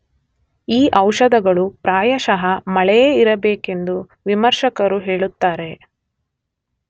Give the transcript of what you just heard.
ಈ ಔಷಧಗಳು ಪ್ರಾಯಶಃ ಮಳೆಯೇ ಇರಬೇಕೆಂದು ವಿಮರ್ಶಕರು ಹೇಳುತ್ತಾರೆ.